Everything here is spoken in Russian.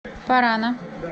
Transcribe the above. парана